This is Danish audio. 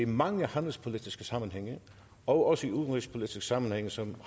mange handelspolitiske sammenhænge og også i udenrigspolitiske sammenhænge som